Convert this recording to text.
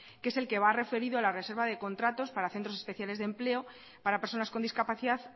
que es el que va referido a la reserva de contratos para centros especiales de empleo para personas con discapacidad